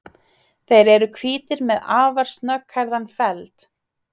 Þeir eru hvítir með afar snögghærðan feld.